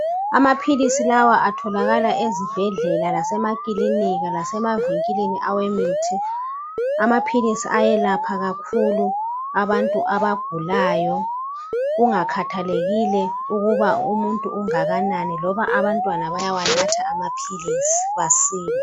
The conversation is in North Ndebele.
Amaphilisi lawa atholakala ezibhedlela lasemakilinika lasemavinkilini awemithi amaphilisi ayelapha kakhulu abantu abagulayo kungakhathalekile ukuba umuntu ungakanani loba abantwana bayawanatha amaphilisi basile.